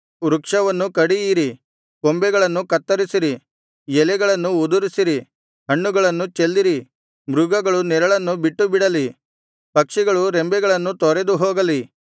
ವೃಕ್ಷವನ್ನು ಕಡಿಯಿರಿ ಕೊಂಬೆಗಳನ್ನು ಕತ್ತರಿಸಿರಿ ಎಲೆಗಳನ್ನು ಉದುರಿಸಿರಿ ಹಣ್ಣುಗಳನ್ನು ಚೆಲ್ಲಿರಿ ಮೃಗಗಳು ನೆರಳನ್ನು ಬಿಟ್ಟುಬಿಡಲಿ ಪಕ್ಷಿಗಳು ರೆಂಬೆಗಳನ್ನು ತೊರೆದು ಹೋಗಲಿ